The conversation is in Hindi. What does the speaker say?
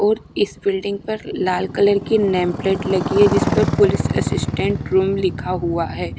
और इस बिल्डिंग पर लाल कलर की नेम प्लेट लगी है जिस पर पुलिस असिस्टेंट रूम लिखा हुआ है।